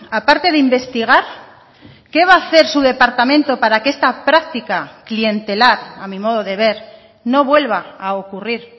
aparte de investigar qué va a hacer su departamento para que esta práctica clientelar a mi modo de ver no vuelva a ocurrir